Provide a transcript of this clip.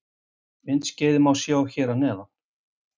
Myndskeiðið má sjá hér að neðan